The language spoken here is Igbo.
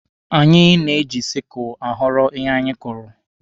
Anyị na-eji sikụlụ aghọrọ ihe anyị kụrụ.